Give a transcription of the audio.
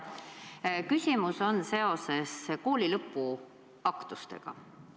Minu küsimus on kooli lõpuaktuste kohta.